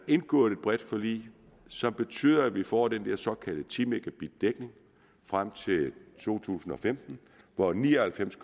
indgået et bredt forlig som betyder at vi får den der såkaldte ti megabit dækning frem til to tusind og femten hvor ni og halvfems